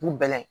Bu bɛɛ la